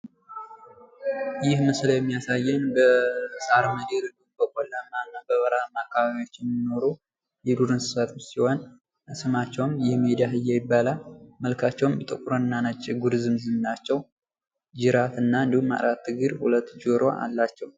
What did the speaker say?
ይህ ምስል የሚያሳየኝ በሳር ምድር በቆላማና በበረሃማ አካባቢዎች የሚኖር የዱር እንስሳቶች ሲሆን ስማቸውም የሜዳ አህያ ይባላል መልካቸውም ነጭና ጥቁር ዝንጉርጉር ነው ጅራትና እንዲሁም አራት ጆሮ አላቸው።